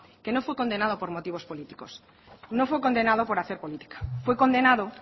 que no fue condenado por motivos políticos no fue condenado por hacer política fue condenado